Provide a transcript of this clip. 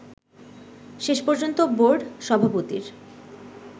শেষ পর্যন্ত বোর্ড সভাপতির